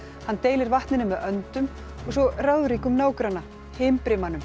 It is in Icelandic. hann deilir vatninu með öndum og svo ráðríkum nágranna